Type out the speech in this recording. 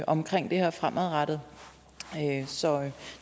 omkring det her fremadrettet så